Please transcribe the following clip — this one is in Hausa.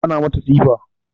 Ana mata tsifa